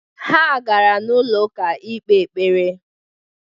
Ha gara n'ụlọ ụka ikpe ekpere.